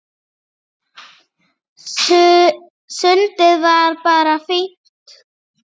Sundið var bara fínt.